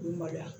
K'u maloya